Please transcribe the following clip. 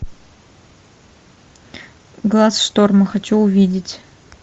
глаз шторма хочу увидеть